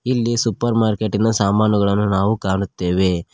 ಇಲ್ಲಿ ಸೂಪರ್ ಮಾರ್ಕೆಟಿನ ಸಾಮಾನುಗಳನ್ನೂ ನಾವು ಕಾಣುತ್ತೆವೆ.